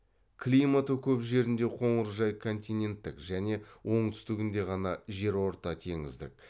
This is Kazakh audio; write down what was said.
климаты көп жерінде қоңыржай континенттік және оңтүстігінде ғана жерортатеңіздік